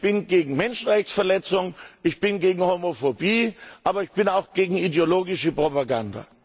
Ich bin gegen Menschenrechtsverletzungen, ich bin gegen Homophobie, aber ich bin auch gegen ideologische Propaganda.